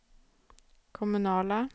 kommunala